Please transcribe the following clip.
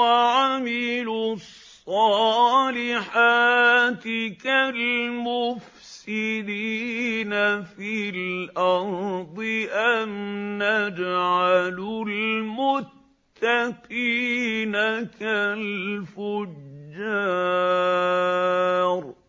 وَعَمِلُوا الصَّالِحَاتِ كَالْمُفْسِدِينَ فِي الْأَرْضِ أَمْ نَجْعَلُ الْمُتَّقِينَ كَالْفُجَّارِ